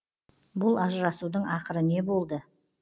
бұл ажырасудың ақыры не болды